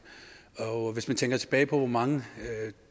hvis man tænker tilbage på hvor mange